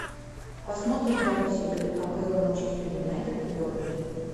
посмотрим запись игры апл манчестер юнайтед бернли